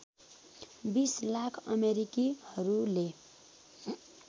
२० lakh अमेरिकीहरूले